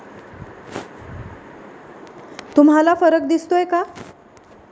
तुम्हाला फरक दिसतोय का?